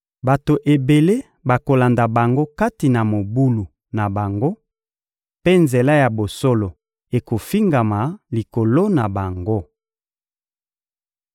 Bato ebele bakolanda bango kati na mobulu na bango, mpe nzela ya bosolo ekofingama likolo na bango.